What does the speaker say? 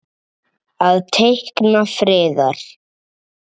Að teikna friðar.